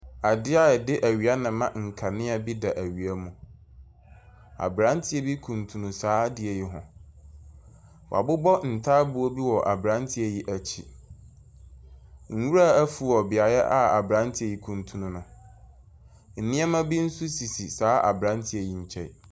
Adeɛ a yɛde awia na ɛma nkanea bi da awia mu. Abranteɛ bi kuntun saa adeɛ yi ho. Wabobɔ ntaaboo bi wɔ abranteɛ yi akyi. Nwura afuw wɔ beaeɛ a abranteɛ yi kuntun no. Nneɛma bi nso sisi saa abranteɛ yi nkyɛn.